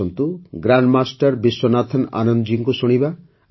ଆସନ୍ତୁ ଗ୍ରାଣ୍ଡମାଷ୍ଟର୍ ବିଶ୍ୱନାଥନ ଆନନ୍ଦ ଜୀଙ୍କୁ ଶୁଣିବା